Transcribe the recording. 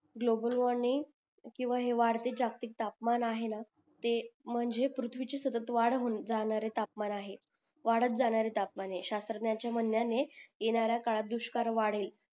global warming किंवा हे जागतिक तापमान आहेना ते म्हणजे पृथ्वीची सतत डाव होऊन जाणारे तापमान आहे वादात जाणारे तापमान हे शास्त्रातनयां च्या म्हणायाने येणाऱ्या काळात दुष्कार वाढेल